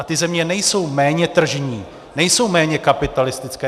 A ty země nejsou méně tržní, nejsou méně kapitalistické.